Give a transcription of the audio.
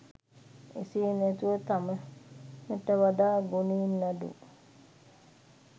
එසේ නැතුව තමනට වඩා ගුණයෙන් අඩු